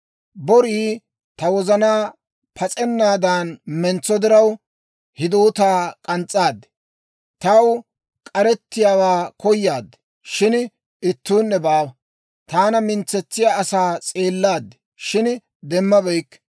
Borii ta wozanaa pas'ennaadan mentso diraw; hidoota k'ans's'aad. Taw k'arettiyaawaa koyaad. Shin ittuunne baawa; taana mintsetsiyaa asaa s'eellaad; shin demmabeykke.